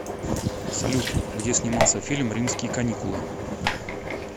салют где снимался фильм римские каникулы